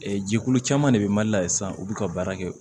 jɛkulu caman de bɛ mali la yan sisan u bɛ ka baara kɛ